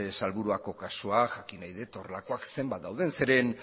salburuako kasua jakin nahi dut horrelakoak zenbat dauden zeren